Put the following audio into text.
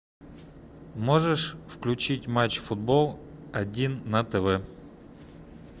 можешь включить матч футбол один на тв